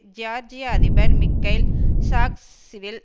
ஜியார்ஜிய அதிபர் Mikheil Saakashvili